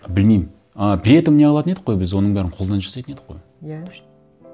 білмеймін ы при этом не қылатын едік қой біз оның бәрін қолдан жасайтын едік қой иә